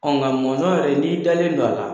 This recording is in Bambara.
Ɔ nka mɔnzɔn yɛrɛ n'i dalen dɔ a la